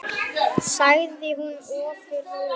sagði hún ofur rólega.